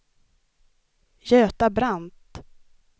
Göta Brandt